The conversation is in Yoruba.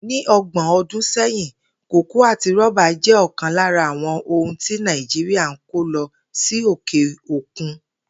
Ní o̩gbò̩n o̩dún sé̩yìn, kòkó àti ró̩ba jé̩ o̩kàn lára àwo̩n ohun tí Nàìjíríà ń kó lo̩ sí òkè òkun